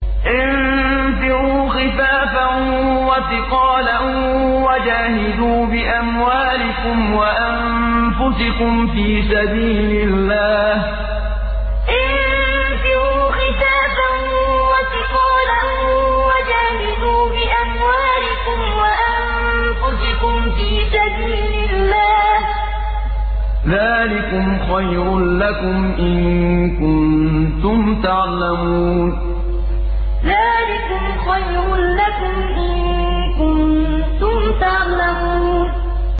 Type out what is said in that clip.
انفِرُوا خِفَافًا وَثِقَالًا وَجَاهِدُوا بِأَمْوَالِكُمْ وَأَنفُسِكُمْ فِي سَبِيلِ اللَّهِ ۚ ذَٰلِكُمْ خَيْرٌ لَّكُمْ إِن كُنتُمْ تَعْلَمُونَ انفِرُوا خِفَافًا وَثِقَالًا وَجَاهِدُوا بِأَمْوَالِكُمْ وَأَنفُسِكُمْ فِي سَبِيلِ اللَّهِ ۚ ذَٰلِكُمْ خَيْرٌ لَّكُمْ إِن كُنتُمْ تَعْلَمُونَ